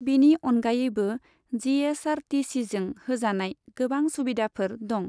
बिनि अनगायैबो, G S R T सीजों होजानाय गोबां सुबिदाफोर दं।